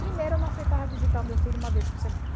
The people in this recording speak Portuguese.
Primeiro eu não aceitava visitar o meu filho uma vez por semana.